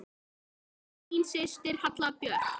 Þín systir, Halla Björk.